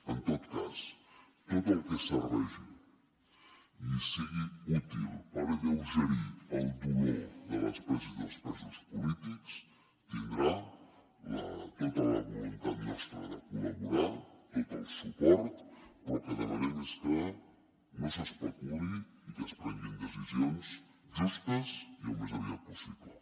en tot cas tot el que serveixi i sigui útil per alleugerir el dolor de les preses i dels presos polítics tindrà tota la voluntat nostra de col·laborar tot el suport però el que demanem és que no s’especuli i que es prenguin decisions justes i al més aviat possible